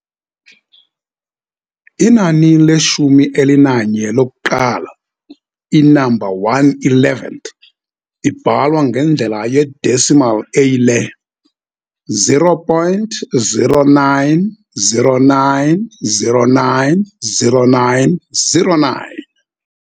Inani leshumi elinanye lokuqala, i-number one eleventh, ibhalwa ngendlela ye-decimal eyile 0.0909090909.